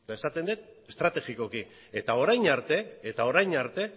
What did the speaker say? eta esaten dut estrategikoki eta orain arte